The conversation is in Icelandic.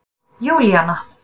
Júlíana